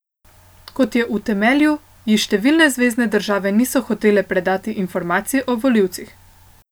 Kot je utemeljil, ji številne zvezne države niso hotele predati informacij o volivcih.